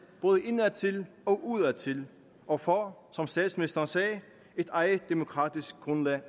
både indadtil og udadtil og få som statsministeren sagde et eget demokratisk grundlag